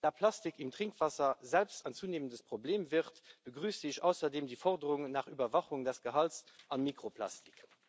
Da Plastik in Trinkwasser selbst zunehmend ein Problem wird, begrüße ich außerdem die Forderungen nach Überwachung des Gehalts an Mikroplastik.